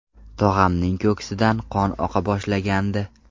Tog‘amning ko‘ksidan qon oqa boshlagandi.